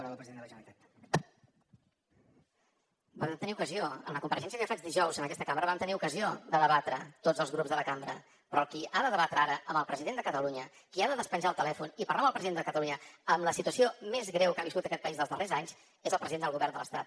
van tenir ocasió a la compareixença que jo faig dijous en aquesta cambra vam tenir ocasió de debatre tots els grups de la cambra però qui ha de debatre ara amb el president de catalunya qui ha de despenjar el telèfon i parlar amb el president de catalunya en la situació més greu que ha viscut aquest país els darrers anys és el president del govern de l’estat